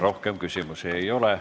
Rohkem küsimusi ei ole.